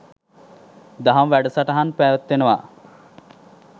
දහම් වැඩසටහන් පැවැත්වෙනවා.